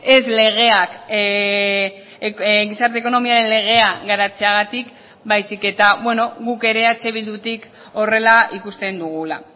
ez legeak gizarte ekonomiaren legea garatzeagatik baizik eta guk ere eh bildutik horrela ikusten dugula